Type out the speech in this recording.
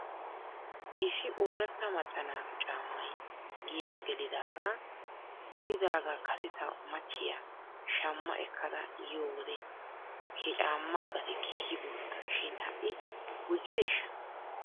Issi ooratta macca naatu caammay giyaa gelidaagaa gelidaagaa kase ta michchiyaa shamma ekkada yiyoo wode he caamaa gatee keehi guutta shin ha'i gujjideeshsha?